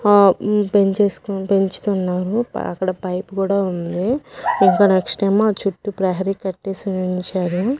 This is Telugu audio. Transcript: ఆ ఉం పెంచేస్కొని పెంచుతున్నాను ప అక్కడ పైపు కూడా ఉంది ఇంక నెక్స్ట్ ఏమో చుట్టూ ప్రహరీ కట్టేసి ఉంచారు.